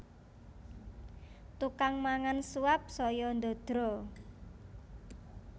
Tukang mangan suap saya ndadra